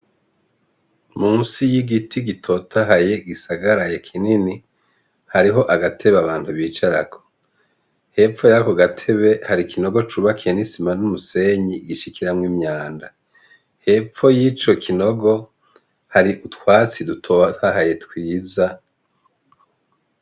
Munsi y'igiti gitotahaye gisagaraye kinini, hariho agatebe abantu bicarako ,hepfo yako ga tebe hari ikinogo cubakiye n'isima n'umusenyi gishikiramwo imyanda. Hepfo y'ico kinogo hari utwatsi dutotahaye twiza.